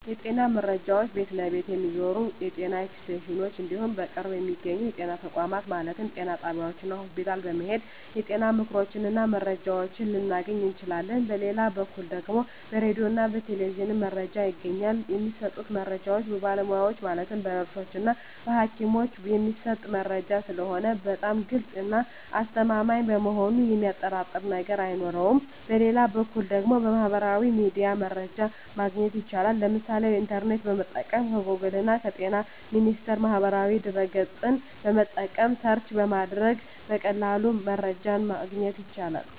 የጤና መረጃ ቤት ለቤት ከሚዞሩት የጤና ኤክስቴንሽኖች እንዲሁም በቅርብ በሚገኙ የጤና ተቋማት ማለትም ጤና ጣቢያዎች እና ሆስፒታል በመሔድ የጤና ምክሮችን እና መረጃዎችን ልናገኝ እንችላለን በሌላ በኩል ደግሞ በራዲዮ እና በቴሌቪዥንም መረጃ ይገኛል የሚሰጡት መረጃዎች በባለሙያዎች ማለትም በነርሶች እና በሀኪሞች የሚሰጥ መረጂ ስለሆነ በጣም ግልፅ እና አስተማማኝ በመሆኑ የሚያጠራጥር ነገር አይኖረውም በሌላ በኩል ደግሞ በሚህበራዊ ሚዲያ መረጃ ማግኘት ይቻላል የምሳሌ ኢንተርኔትን በመጠቀም ከጎግል እና በጤና ሚኒስቴር ማህበራዊ ድህረ ገፅን በመጠቀም ሰርች በማድረግ በቀላሉ መረጃን ማግኘት ይቻላል።